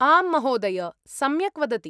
आम् महोदय, सम्यक् वदति।